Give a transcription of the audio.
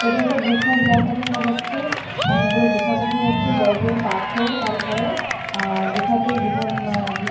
এটা একটা গুফার জায়গা দেখা যাচ্ছে অনেক বড়ো গুফা দেখা যাচ্ছে বড়ো বড়ো পাথর কালো কালো গুফাতে গুফার ভিত --